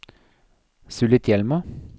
Sulitjelma